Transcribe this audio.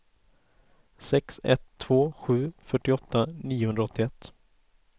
sex ett två sju fyrtioåtta niohundraåttioett